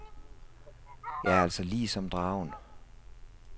Jeg er altså lige som dragen.